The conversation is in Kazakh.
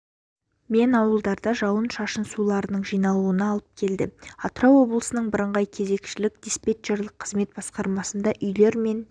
мен аулаларда жауын-шашын суларының жиналуына алып келді атырау облысының бірыңғай кезекшілік-диспетчерлік қызмет басқармасына үйлер мен